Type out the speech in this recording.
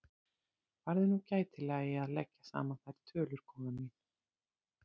Farðu nú gætilega í að leggja saman þær tölur, góða mín.